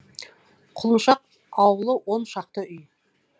құлыншақ аулы он шақты үй